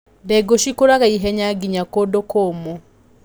Ndengũ cikũraga ihenya nginya kũndũ kũmu.